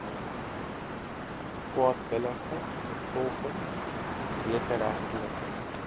kwaadwillige vervolging wederregtelike